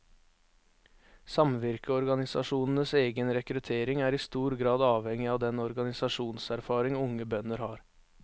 Samvirkeorganisasjonenes egen rekruttering er i stor grad avhengig av den organisasjonserfaring unge bønder har.